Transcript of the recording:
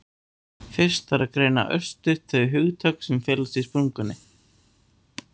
fyrst þarf að greina örstutt þau hugtök sem felast í spurningunni